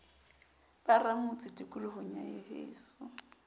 ba ramotse tikolohong ya heso